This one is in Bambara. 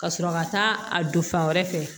Ka sɔrɔ ka taa a don fan wɛrɛ fɛ